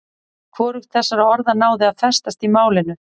Hvorugt þessara orða náði að festast í málinu.